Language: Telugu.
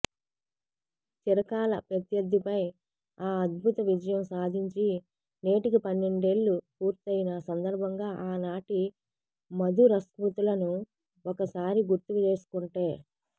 చిరకాల ప్రత్యర్థిపై ఆ అద్భుత విజయం సాధించి నేటికి పన్నెండేళ్లు పూర్తైన సందర్భంగా ఆనాటి మధురస్మృతులను ఒకసారి గుర్తు చేసుకుంటే